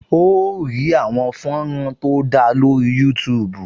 O óò rí àwọn fọ́nrán tó dára lórih Youtube